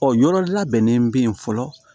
Ɔ yɔrɔ labɛnnen be yen fɔlɔ